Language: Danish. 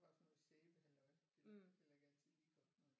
Det var sådan noget sæbehalløj det lugtede heller ikke altid lige godt når de